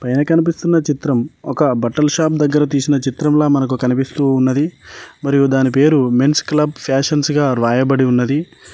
పైన కనిపిస్తున్న చిత్రం ఒక బట్టల షాప్ దగ్గర తీసిన చిత్రంలా మనకు కనిపిస్తూ ఉన్నది మరియు దాని పేరు మెన్స్ క్లబ్ ఫ్యాషన్స్ గా రాయబడి ఉన్నది.